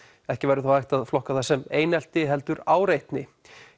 ekki væri þó hægt að flokka það sem einelti heldur áreitni